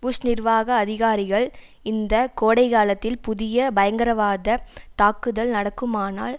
push நிர்வாக அதிகாரிகள் இந்த கோடை காலத்தில் புதிய பயங்கரவாத தாக்குதல் நடக்குமானால்